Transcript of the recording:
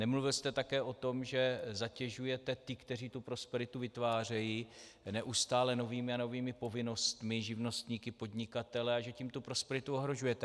Nemluvil jste také o tom, že zatěžujete ty, kteří tu prosperitu vytvářejí, neustále novými a novými povinnostmi - živnostníky, podnikatele - a že tím tu prosperitu ohrožujete.